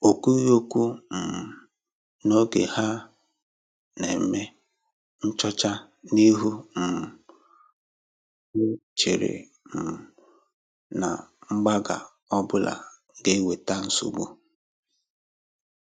O kwughi okwu um n’oge ha na-eme nchọ̀chá, n’ihi um na ọ chèrè um na mgbagha ọbụla gà-ewètà nsogbu